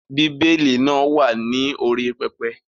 Bí Élì náà wà ní orí pẹpẹ.